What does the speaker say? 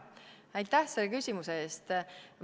Aitäh selle küsimuse eest!